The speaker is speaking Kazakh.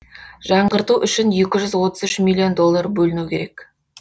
жаңғырту үшін екі жүз отыз үш миллион доллар бөліну керек